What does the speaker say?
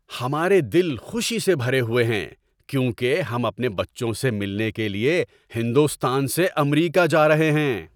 ہمارے دل خوشی سے بھرے ہوئے ہیں کیونکہ ہم اپنے بچوں سے ملنے کے لیے ہندوستان سے امریکہ جا رہے ہیں۔